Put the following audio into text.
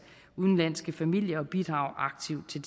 udenlandske familier og bidrage aktivt til